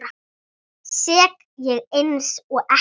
Sekk ég einsog ekkert.